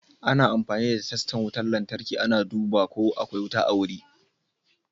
Ana amfani da testan wutan lantarki ana duba ko akwai wuta a wuri.